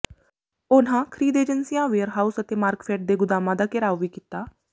ਉਨ੍ਹਾਂ ਖ਼ਰੀਦ ਏਜੰਸੀਆਂ ਵੇਅਰ ਹਾਊਸ ਅਤੇ ਮਾਰਕਫੈੱਡ ਦੇ ਗੁਦਾਮਾਂ ਦਾ ਘਿਰਾਓ ਵੀ ਕੀਤਾ